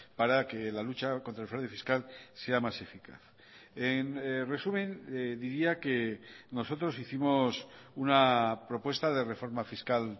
para que la lucha contra el fraude fiscal sea más eficaz en resumen diría que nosotros hicimos una propuesta de reforma fiscal